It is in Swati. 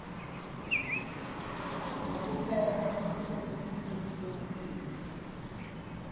nekuphepha kwasemsebentini kutekulima